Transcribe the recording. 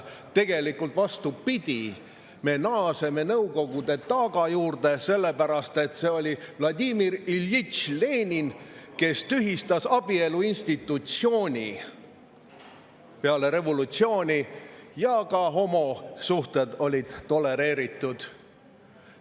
Tegelikult on vastupidi: me naaseme Nõukogude taaga juurde, sellepärast et see oli Vladimir Iljitš Lenin, kes tühistas abielu institutsiooni peale revolutsiooni ja ka homosuhted olid siis tolereeritud.